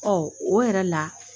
O yɛrɛ la